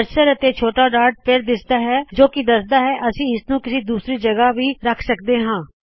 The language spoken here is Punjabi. ਕਰਸਰ ਅਤੇ ਛੋਟਾ ਡਾੱਟ ਫੇਰ ਦਿਸਦਾ ਹੈ ਜੋ ਦੱਸਦਾ ਹੈ ਕਿ ਅਸੀ ਇਸਨੂੰ ਕਿਸੀ ਦੂਸਰੀ ਜਗਹ ਵੀ ਰੱਖ ਸਕਦੇ ਹਾ